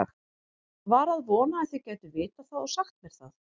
var að vona þið gætuð vitað það og sagt mér það